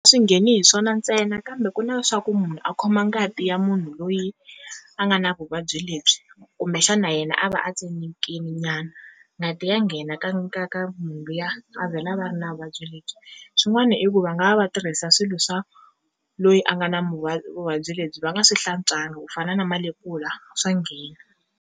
Swi ngheni hi swona ntsena kambe ku na swa ku munhu a khoma ngati ya munhu loyi a nga na vuvabyi lebyi kumbexana yena a va a tsemekini nyana ngati ya nghena ka ka ka munhu luya a vhela a va ri na vuvabyi lebyi, swin'wani i ku va nga va va tirhisa swilo swa loyi a nga na vuvabyi lebyi va nga swi hlantswangi ku fana na malepula swa nghena.